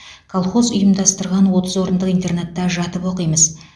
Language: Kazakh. колхоз ұйымдастырған отыз орындық интернатта жатып оқимыз